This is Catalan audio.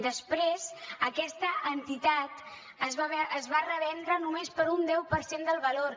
després aquesta entitat es va revendre només per un deu per cent del valor